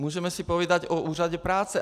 Můžeme si povídat o úřadech práce.